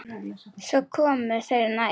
Svo komu þeir nær.